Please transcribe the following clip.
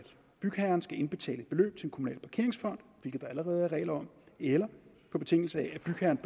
bygherren skal indbetale et beløb til en kommunal parkeringsfond hvilket der allerede er regler om eller på betingelse af at bygherren